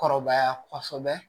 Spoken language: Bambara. Kɔrɔbaya kɔsɔbɛ